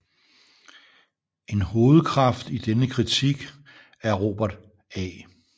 En hovedkraft i denne kritik er Robert A